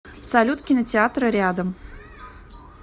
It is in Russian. салют кинотеатры рядом